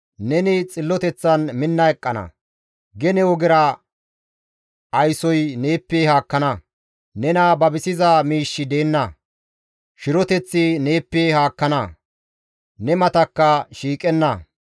Neni xilloteththan minna eqqana; gene ogera aysoy neeppe haakkana. Nena babisiza miishshi deenna; shiroteththi neeppe haakkana; ne matakka shiiqenna.